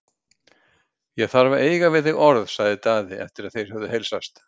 Ég þarf að eiga við þig orð, sagði Daði eftir að þeir höfðu heilsast.